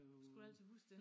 Skulle du altid huske det